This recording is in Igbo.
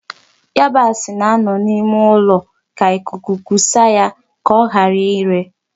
Yabasi na-anọ n'ime ụlọ ka ikuku kuse ya ka ọghara ire.